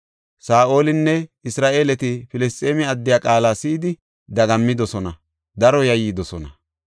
Saa7olinne Isra7eeleti Filisxeeme addiya qaala si7idi dagammidosona, daro yayyidosona.